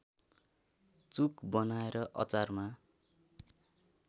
चुक बनाएर अचारमा